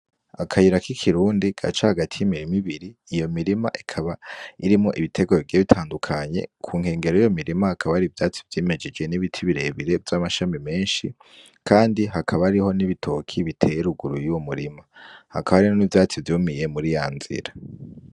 Akayira k'ikirundi gaca hagati y'imirima ibiri, iyo mirima ikaba irimwo ibitegwa bigenda bitandukanye, ku nkengero y'iyo mirima hakaba hari ivyatsi vyimejeje n'ibiti birebire vy'amashami menshi kandi hakaba hari n'ibitoki biteye ruguru y'iyo murima, hakaba hari n'ivyatsi vyumiye muri ya nzira.